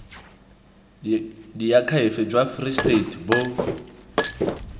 diakhaefe jwa free state bo